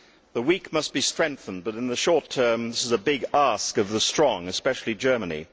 The weak must be strengthened, but in the short term this is a big ask of the strong, especially Germany.